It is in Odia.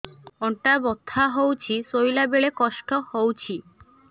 ଅଣ୍ଟା ବଥା ହଉଛି ଶୋଇଲା ବେଳେ କଷ୍ଟ ହଉଛି